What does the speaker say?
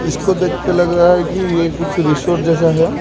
इसको देखके लग रहा है कि ये कुछ रिसॉर्ट जैसा है।